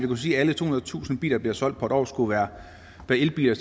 kunne sige at alle tohundredetusind biler der bliver solgt på et år skulle være elbiler